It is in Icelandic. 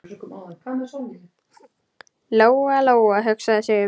Lóa-Lóa hugsaði sig um.